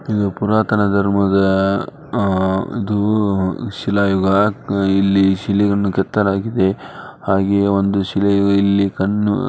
ಇದು ಪುರಾತನ ಧರ್ಮದ ಆಹ್ಹ್ ಇದು ಶಿಲಾಯುಗ ಇಲ್ಲಿ ಶಿಲೆಯನ್ನು ಕೆತ್ತಲಾಗಿದೆ ಹಾಗೆ ಒಂದು ಶಿಲೆಯು ಇಲ್ಲಿ ಕನ್ನು --